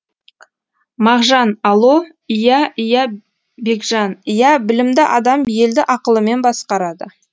мағжан алло ия ия бекжан иә білімді адам елді ақылымен басқарады